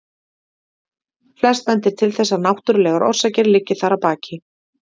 Flest bendir til þess að náttúrulegar orsakir liggi þar að baki.